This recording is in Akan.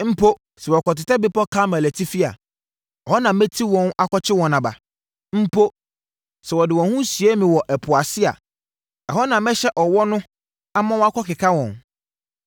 Mpo sɛ wɔkɔtetɛ bepɔ Karmel atifi a, ɛhɔ na mɛti wɔn akɔkye wɔn aba. Mpo sɛ wɔde wɔn ho sie me wɔ ɛpo ase a ɛhɔ na mɛhyɛ ɔwɔ no ama wakɔkeka wɔn.